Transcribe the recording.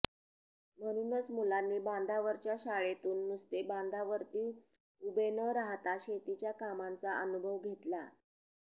म्हणूनच मुलांनी बांधावरच्या शाळेतून नुसते बांधावरती उभे न राहाता शेतीच्या कामांचा अनुभव घेतला